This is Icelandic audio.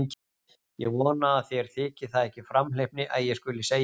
Ég vona að þér þyki það ekki framhleypni að ég skuli segja það.